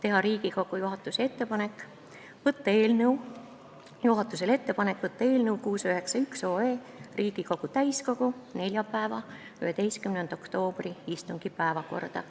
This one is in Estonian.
Esiteks, teha Riigikogu juhatusele ettepanek saata eelnõu 691 Riigikogu täiskogu neljapäeva, 11. oktoobri istungi päevakorda.